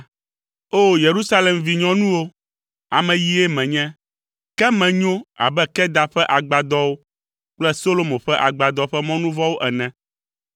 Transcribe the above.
O! Yerusalem vinyɔnuwo, ame yie menye, ke menyo abe Kedar ƒe agbadɔwo kple Solomo ƒe agbadɔ ƒe mɔnuvɔwo ene.